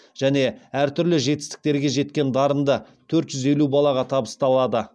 және әр түрлі жетістіктерге жеткен дарынды төрт жүз елу балаға табысталады